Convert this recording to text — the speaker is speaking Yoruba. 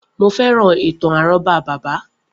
Mo féràn ìtàn àrọ́bá bàbá